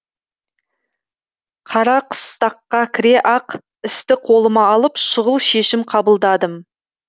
қарақыстаққа кіре ақ істі қолыма алып шұғыл шешім қабылдадым